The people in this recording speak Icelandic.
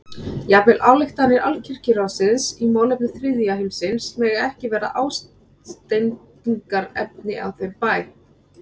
Jafnvel ályktanir Alkirkjuráðsins í málefnum þriðja heimsins mega ekki verða ásteytingarefni á þeim bæ.